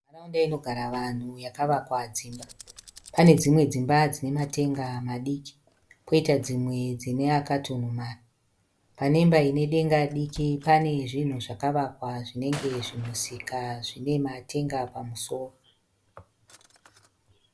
Nharaunda inogara vanhu yakavakwa dzimba. Pane dzimwe dzimba dzine matenga madiki poita dzimwe dzine akatunhumara. Pane imba ine denga diki pane zvinhu zvakavakwa zvinenge zvimusika zvine matenga pamusoro.